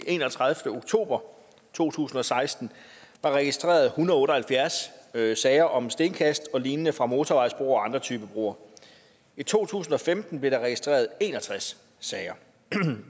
enogtredivete oktober to tusind og seksten var registreret en hundrede og otte og halvfjerds sager om stenkast og lignende fra motorvejsbroer og andre type broer i to tusind og femten blev der registreret en og tres sager